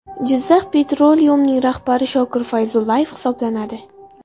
Jizzakh Petroleum’ning rahbari Shokir Fayzullayev hisoblanadi .